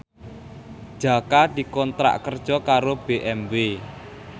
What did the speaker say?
Jaka dikontrak kerja karo BMW